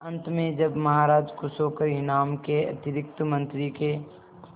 अंत में जब महाराज खुश होकर इनाम के अतिरिक्त मंत्री के